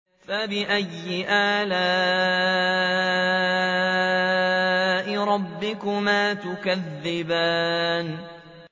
فَبِأَيِّ آلَاءِ رَبِّكُمَا تُكَذِّبَانِ